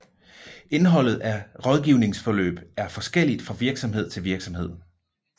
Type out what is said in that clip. Indholdet af rådgivningsforløb er forskelligt fra virksomhed til virksomhed